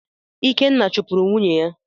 Ikenna chupuru nwunye ya